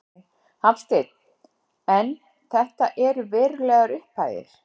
Er Þýskaland kannski rétta skrefið?